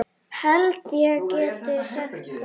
Held ég geti sagt það.